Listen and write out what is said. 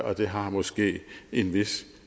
og det har måske en vis